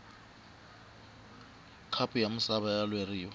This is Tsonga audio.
khapu ya misava ya lweriwa